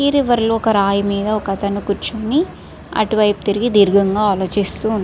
ఈ రివర్ లో ఒక రాయి మీద ఒక అతను కూర్చుని అటువైపు తిరిగి దీర్ఘంగా ఆలోచిస్తూ ఉన్నా --